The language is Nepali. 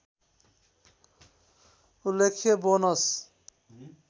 उल्लेख्य बनोस्